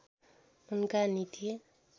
उनका नीति